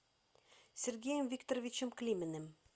сергеем викторовичем климиным